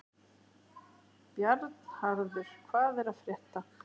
Bjarnharður, hvað er að frétta?